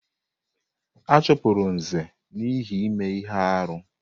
A chụpụrụ Nze n'ihi ime ihe arụ.